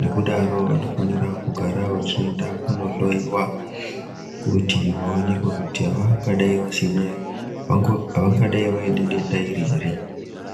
Nokudaro vanofanira kugara vachienda kundohloyiwa kuti vaonekwe kuti havangadai vaine denda iri here.